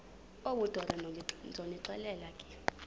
obudoda ndonixelela ke